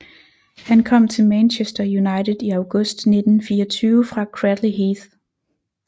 Han kom til Manchester United i august 1924 fra Cradley Heath